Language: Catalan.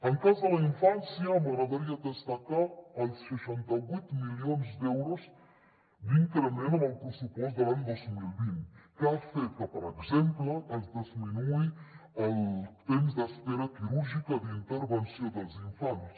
en el cas de la infància m’agradaria destacar els seixanta vuit milions d’euros d’increment en el pressupost de l’any dos mil vint que han fet que per exemple disminueixi el temps d’espera quirúrgica d’intervenció dels infants